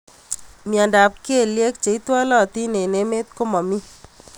Mnyendo ab kelyek cheitwalatin eng emet komami.